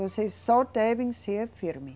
Vocês só devem ser firme